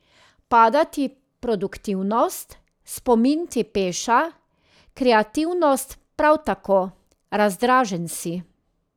Pada ti produktivnost, spomin ti peša, kreativnost prav tako, razdražen si.